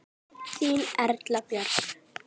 Þín Erla Björk.